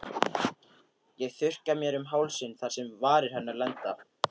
Ég þurrka mér um hálsinn þar sem varir hennar lenda.